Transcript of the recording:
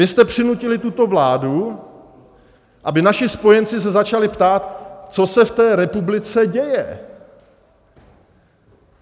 Vy jste přinutili tuto vládu, aby naši spojenci se začali ptát, co se v té republice děje.